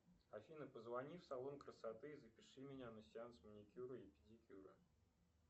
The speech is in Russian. афина позвони в салон красоты и запиши меня на сеанс маникюра и педикюра